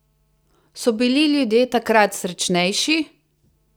So bili ljudje takrat srečnejši?